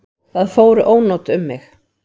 Það fóru ónot um mig.